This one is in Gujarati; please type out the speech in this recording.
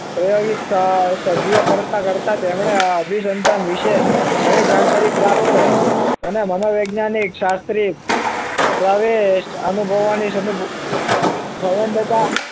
સત્યાવીશ સભ્ય કરતા કરતા તેમને‌ અભી સંતાન વિશે નવી જાણકારી પ્રાપ્ત થઇ મનોવિજ્ઞાન એક શાસ્ત્રી પ્રવેશ અનુભવવાની સંબંધતા